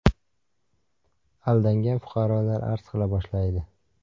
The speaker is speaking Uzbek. Aldangan fuqarolar arz qila boshlaydi.